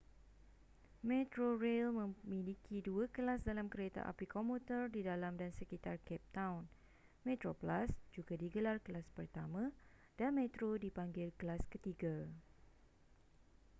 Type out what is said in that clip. metrorail memiliki dua kelas dalam kereta api komuter di dalam dan sekitar cape town: metroplus juga digelar kelas pertama dan metro dipanggil kelas ketiga